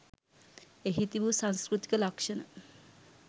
එහි තිබු සංස්කෘතික ලක්ෂණ